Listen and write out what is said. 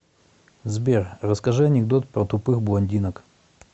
сбер расскажи анекдот про тупых блондинок